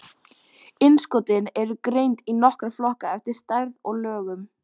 Innskotin eru greind í nokkra flokka eftir stærð og lögun.